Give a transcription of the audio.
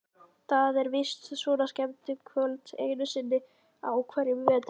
Það er víst svona skemmtikvöld einu sinni á hverjum vetri.